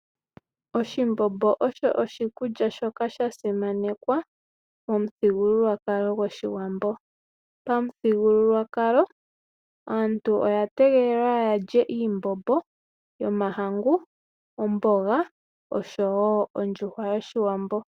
Oshimbombo osho oshikulya shoka sha simanekwa momuthigululwakalo gOshiwambo. Pamuthigululwakalo aantu oya tegelelwa ya lye oshimbombo shomahangu, omboga oshowo ondjuhwa yOshiwambo.